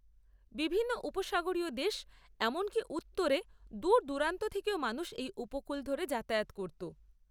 বিভিন্ন উপসাগরীয় দেশ এমনকি উত্তরে দূরদূরান্ত থেকেও মানুষ এই উপকূল ধরে যাতায়াত করত।